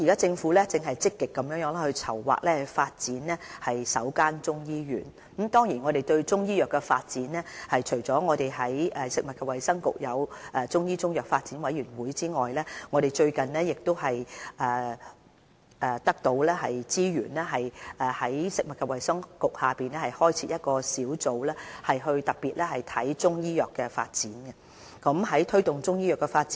政府現正積極籌劃發展首間中醫醫院，我們在中醫藥發展方面，除了在食物及衞生局設有中醫中藥發展委員會外，我們最近獲撥給資源，在食物及衞生局轄下開設一個小組，專門負責中醫藥的發展事宜。